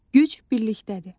Güc birlikdədir.